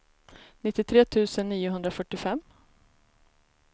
nittiotre tusen niohundrafyrtiofem